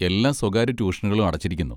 എല്ലാ സ്വകാര്യ ട്യൂഷനുകളും അടച്ചിരിക്കുന്നു.